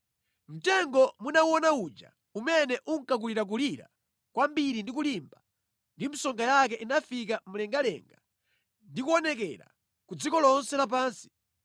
Mtengo munawuona uja, umene unkakulirakulira kwambiri ndi kulimba, ndi msonga yake inafika mlengalenga, ndi kuonekera ku dziko lonse lapansi,